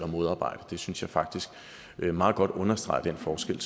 modarbejde det synes jeg faktisk meget godt understreger den forskel